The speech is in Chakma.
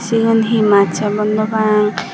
segun he mas hobor no pang.